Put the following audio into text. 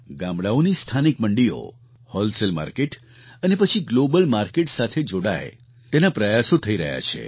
ગામડાંઓની સ્થાનિક મંડીઓ wholesale market અને પછી ગ્લોબલ માર્કેટ સાથે જોડાય તેના પ્રયાસો થઈ રહ્યા છે